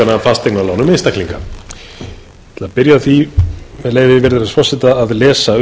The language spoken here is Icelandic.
fasteignalánum einstaklinga ég ætla að byrja á því með leyfi virðulegs forseta að lesa